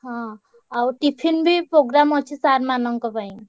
ହଁ ଆଉ tiffin ବି program ଅଛି sir ମାନଙ୍କ ପାଇଁ।